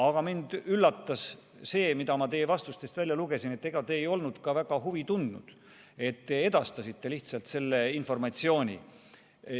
Aga mind üllatas see, mida ma teie vastustest välja lugesin: te ei olnud ka väga huvi tundnud, te lihtsalt edastasite selle informatsiooni.